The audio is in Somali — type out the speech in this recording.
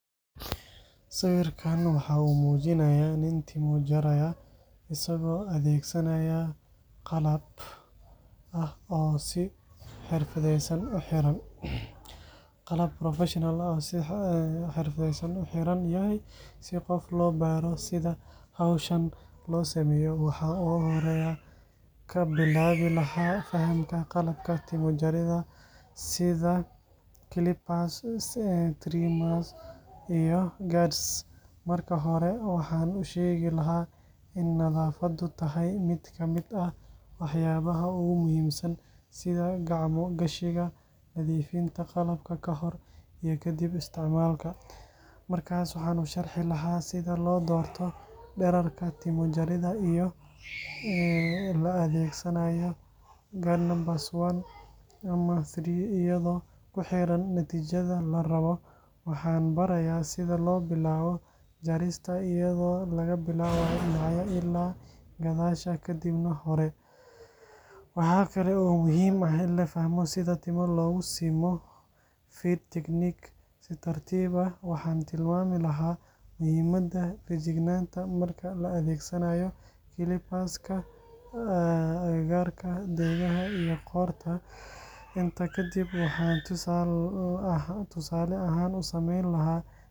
Sawirkan waxa uu muujinayaa nin timo jaraya, isaga oo adeegsanaaya qalab professional ah oo uu si xirfadeysan u xiran yahay. Si qof loo baro sida hawshan loo sameeyo, waxaan ugu horreyn ka bilaabi lahaa fahamka qalabka timo-jaridda sida clippers, trimmers, iyo guards. Marka hore, waxaan u sheegi lahaa in nadaafaddu tahay mid ka mid ah waxyaabaha ugu muhiimsan, sida gacmo-gashiga, nadiifinta qalabka ka hor iyo kadib isticmaalka. Markaas waxaan u sharxi lahaa sida loo doorto dhererka timo-jaridda iyadoo la adeegsanayo guard number one, two ama three iyadoo ku xiran natiijada la rabo. Waxaan barayaa sida loo bilaabo jarista, iyadoo laga bilaabayo dhinacyada ilaa gadaasha kadibna hore. Waxa kale oo muhiim ah in la fahmo sida timo loogu simo fade technique si tartiib ah. Waxaan tilmaami lahaa muhiimadda feejignaanta marka la adeegsanayo clipper-ka agagaarka dhegaha iyo qoorta. Intaa ka dib, waxaan tusaale ahaan u samayn lahaa jaritaan buuxa,